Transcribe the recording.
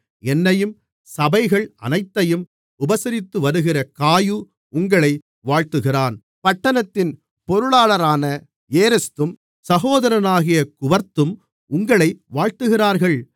என்னையும் சபைகள் அனைத்தையும் உபசரித்துவருகிற காயு உங்களை வாழ்த்துகிறான் பட்டணத்தின் பொருளாளரான ஏரஸ்தும் சகோதரனாகிய குவர்த்தும் உங்களை வாழ்த்துகிறார்கள்